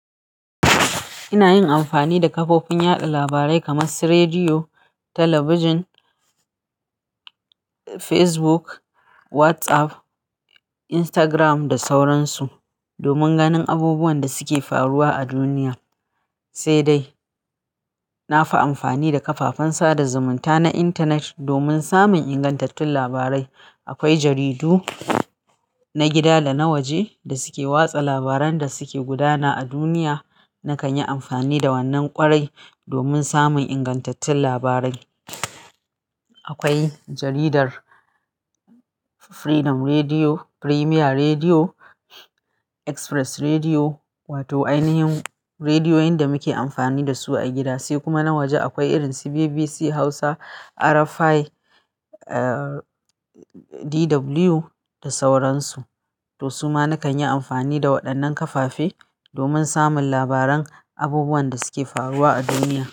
Ina yin amfani da kafofin yaɗa labarai kamar su rediyo, talabijin, Facebook, WhatsApp, Instagram da sauransu domin ganin abubuwan da suke faruwa a duniya. Sai dai na fi amfani da kafafen sada zumunta na intanet domin samun ingantattun labarai. Akwai jaridu na gida da na waje da suke watsa labaran da suke gudana a duniya. Nakan yi amfani da wannan ƙwarai domin samun ingantattun labarai. Akwai jaridar Freedom Rediyo, Premier Rediyo, Express Rediyo, wato ainihin rediyoyin da muke amfani da su a gida. Sai kuma na waje akwai irin su BBC Hausa, RFI, uh, DW da sauransu. To su ma nakan yi amfani da waɗannan kafafe domin samun labaran abubuwan da suke faruwa a duniya.